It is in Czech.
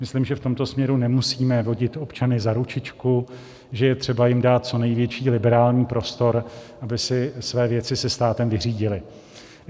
Myslím, že v tomto směru nemusíme vodit občany za ručičku, že je třeba jim dát co největší liberální prostor, aby si své věci se státem vyřídili.